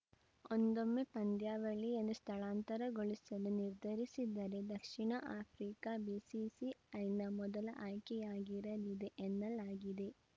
ಒಂದೊಮ್ಮೆ ಪಂದ್ಯಾವಳಿಯನ್ನು ಸ್ಥಳಾಂತರಗೊಳಿಸಲು ನಿರ್ಧರಿಸಿದರೆ ದಕ್ಷಿಣ ಆಫ್ರಿಕಾ ಬಿಸಿಸಿಐನ ಮೊದಲ ಆಯ್ಕೆಯಾಗಿರಲಿದೆ ಎನ್ನಲಾಗಿದೆ